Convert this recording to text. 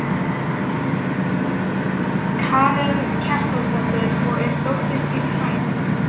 Karen Kjartansdóttir: Og er dóttir þín hrædd?